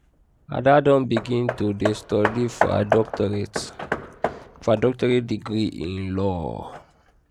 ada don begin to dey study for her doctorate for her doctorate degree in law